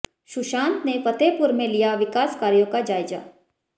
सुशांत ने फतेहपुर में लिया विकास कार्यों का जायजा